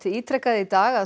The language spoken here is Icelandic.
ítrekaði í dag að